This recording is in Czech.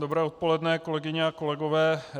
Dobré odpoledne, kolegyně a kolegové.